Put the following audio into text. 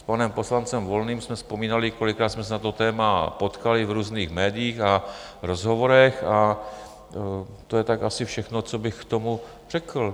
S panem poslancem Volným jsme vzpomínali, kolikrát jsme se na to téma potkali v různých médiích a rozhovorech, a to je tak asi všechno, co bych k tomu řekl.